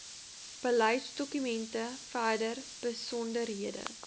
beleidsdokumente verdere besonderhede